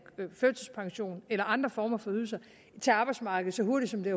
førtidspension eller andre former for ydelser til arbejdsmarkedet så hurtigt som det